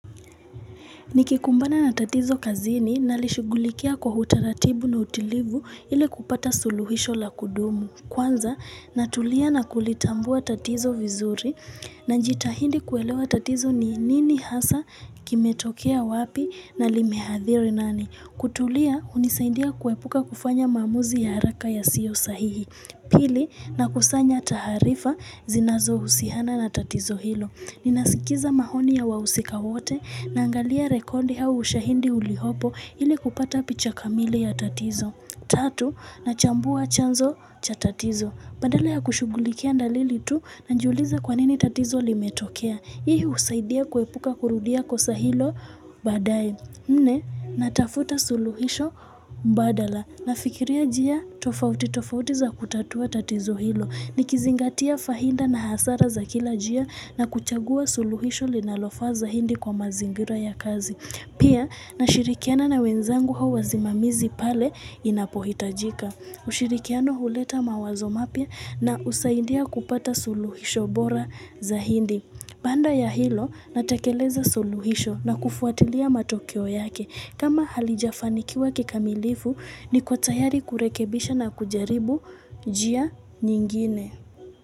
Nikikumbana na tatizo kazini nalishughulikia kwa hutaratibu na utilivu ili kupata suluhisho la kudumu. Kwanza, natulia na kulitambua tatizo vizuri nanjitahindi kuelewa tatizo ni nini hasa kimetokea wapi na limehathiri nani. Kutulia, hunisaindia kuepuka kufanya maamuzi ya haraka yasiyo sahihi. Pili, na kusanya taharifa zinazo husihana na tatizo hilo. Ninasikiza mahoni ya wahusika wote na angalia rekondi hau ushahindi ulihopo ili kupata picha kamili ya tatizo. Tatu, na chambua chanzo cha tatizo. Badala ya kushughulikia ndalili tu nanjuliza kwa nini tatizo limetokea. Hii husaidia kuepuka kurudia kosa hilo baadaye nne, natafuta suluhisho badala. Na fikiria njia tofauti tofauti za kutatua tatizo hilo. Ni kizingatia fahinda na hasara za kila njia na kuchagua suluhisho linalofaa zahindi kwa mazingira ya kazi. Pia nashirikiana na wenzangu au wazimamizi pale inapohitajika. Ushirikiano huleta mawazo mapya na usaidia kupata suluhisho bora zahindi. Baanda ya hilo natakeleza suluhisho na kufuatilia matokeo yake. Kama halijafanikiwa kikamilifu niko tayari kurekebisha na kujaribu njia nyingine.